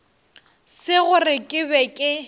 se gore ke be ke